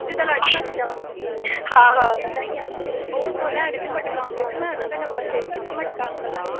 ਜਿਦਾਂ ਲਾਡੀ ਮਾਸੀ ਦਾ ਵਾਂ ਹਮ ਓਦਾ ਈ ਆ ਤੇ ਉਹ ਉੱਤੋਂ ਲੈਣ ਵੀ ਮਟਕਾ ਈ ਆਉਂਦੇ ਤੇ ਮੈਂ ਉਹਨਾਂ ਦਾ number save ਕੀਤਾ ਮਟਕਾ ਅੰਕਲ